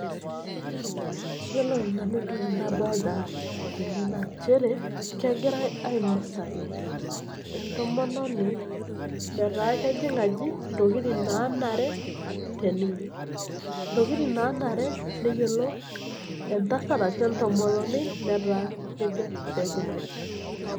Iyiolo nanu entoki nadolita tene na nchere kegira ainosaki entomononi nataa kejing aji ntokitin nanare teninye, ntokitin nanare entasat ashu entomononi nataa kejo pejing aji.